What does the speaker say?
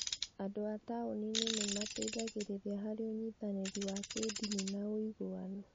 Andũ a taũni-inĩ nĩ mateithagĩrĩria harĩ ũnyitanĩri wa kĩĩndini na ũiguano.